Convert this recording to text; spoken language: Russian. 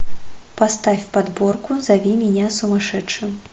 поставь подборку зови меня сумасшедшим